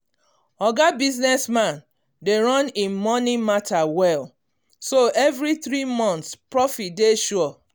oga business man dey run him money matter well so every three months profit dey sure